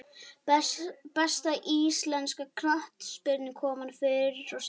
Besta íslenska knattspyrnukonan fyrr og síðar?